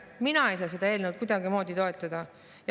Mina ei saa seda eelnõu kuidagimoodi toetada.